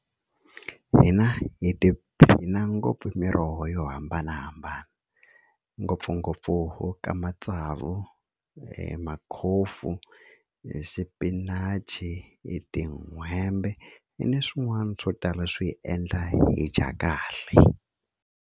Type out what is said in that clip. Hina hi tiphina ngopfu hi miroho yo hambanahambana ngopfungopfu ka matsavu makhofu hi xipinachi hi tin'hwembe ni swin'wana swo tala swi endla hi dya kahle.